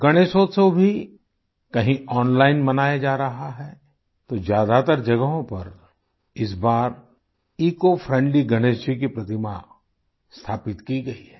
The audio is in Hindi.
गणेशोत्सव भी कहीं ऑनलाइन मनाया जा रहा है तो ज्यादातर जगहों पर इस बार इकोफ्रेंडली गणेश जी की प्रतिमा स्थापित की गई है